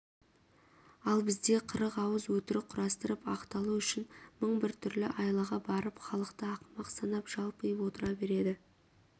ал бізде қырық ауыз өтірік құрастырып ақталу үшін мың бір түрлі айлаға барып халықты ақымақ санап жалпиып отыра береді